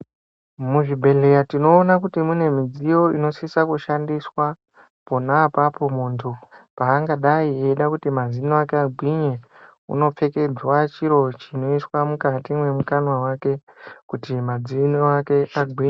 Muzvibhedhleya tinoona kuti mune midziyo inosisa kushandiswa, pona apapo muntu paangadai eida kuti mazino ake agwinye. Unopfekedzwa chiro chinoiswa mukati mwemukanwa make, kuti madzino ake agwi....